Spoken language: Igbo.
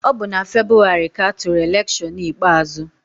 Ọ bụ na Febụwarị ka atụrụ elekshọn ikpeazụ.